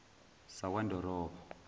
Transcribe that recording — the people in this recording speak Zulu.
sakwandorobo